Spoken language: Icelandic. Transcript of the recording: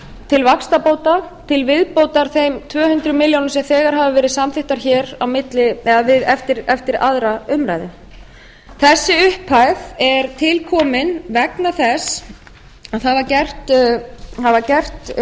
til vaxtabóta til viðbótar þeim tvö hundruð milljóna sem þegar hafa verið samþykktar hér eftir aðra umræðu þessi upphæð er tilkomin vegna þess að það var gert